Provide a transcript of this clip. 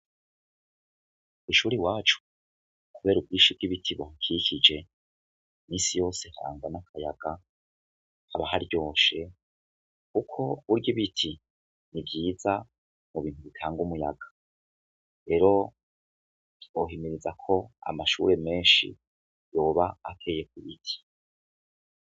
Kwishuri iwacu kubera ubwinshi bw'ibiti bihakikije minsi yose nkaba mbona akayaga haba haryoshe kuko burya ibiti ni vyiza mubintu bitanga umuyaga rero two himiriza ko amashure menshi yoba ateyeko ibiti.